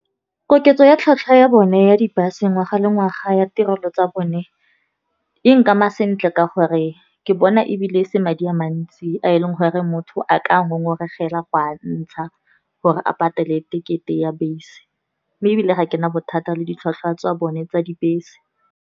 Koketso ya tlhwatlhwa ya bone ya di-bus ngwaga le ngwaga ya tirelo tsa bone, e nkama sentle ka gore ke bona ebile se madi a mantsi, a eleng gore motho a ka ngongoregela go a ntsha gore a patele tekete ya bese. Mme ebile ga kena bothata le ditlhwatlhwa tsa bone tsa dibese.